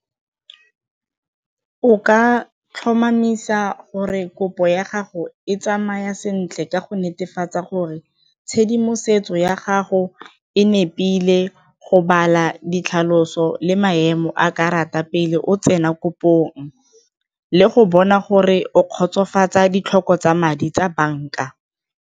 O ka tlhomamisa gore kopo ya gago e tsamaya sentle ka go netefatsa gore tshedimosetso ya gago e nepile go bala ditlhaloso le maemo a karata pele o tsena kopong le go bona gore o kgotsofatsa ditlhoko tsa madi tsa banka.